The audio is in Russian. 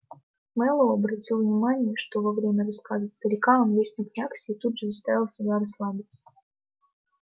мэллоу обратил внимание что во время рассказа старика он весь напрягся и тут же заставил себя расслабиться